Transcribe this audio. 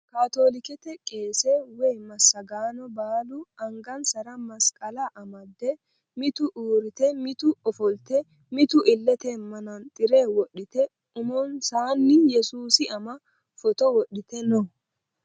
Kaatoolikete qeese woyi massagaano baalu angansara masqala amdde mitu uurrite mitu ofolte mitu illete manaxxire wodhite umonsaanni yesuusi ama footo wodhite no.